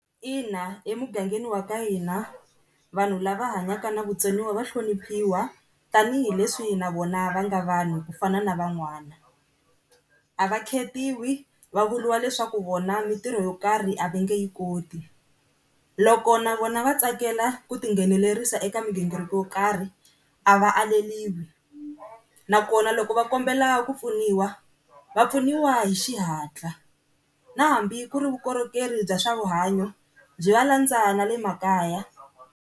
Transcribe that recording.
Ina, emugangeni wa ka hina vanhu lava hanyaka na vutsoniwa va hloniphiwa tanihileswi na vona va nga vanhu ku fana na van'wana, a va khetiwi va vuriwa leswaku vona mintirho yo karhi a va nge yi koti. Loko na vona va tsakela ku tinghenelerisa eka migingiriko yo karhi a va aleriwi, nakona loko va kombela ku pfuniwa va pfuniwa hi xihatla na hambi ku ri vukorhokeri bya swa vuhanyo byi va landza na le makaya.